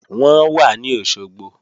Wọ́n wà ní Òṣogbo